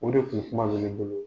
O de kun kuma be ne bolo.